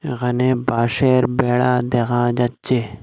এখানে বাঁশের বেড়া দেখা যাচ্ছে।